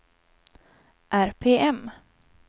RPM